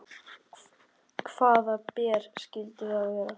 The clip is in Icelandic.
Hvaða ber skyldu það vera?